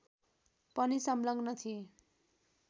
पनि संलग्न थिए